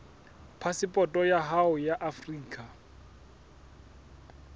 phasepoto ya hao ya afrika